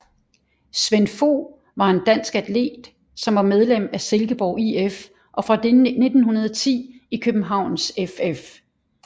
Svend Fogh var en dansk atlet som var medlem af Silkeborg IF og fra 1910 i Københavns FF